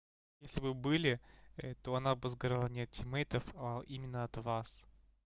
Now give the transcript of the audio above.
если бы были то она бы сгорала не от тиммейтов а именно от вас